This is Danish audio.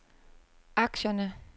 aktierne